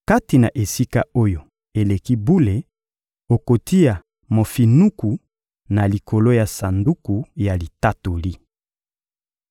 Kati na Esika-Oyo-Eleki-Bule, okotia mofinuku na likolo ya Sanduku ya Litatoli.